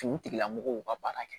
Sigilamɔgɔw ka baara kɛ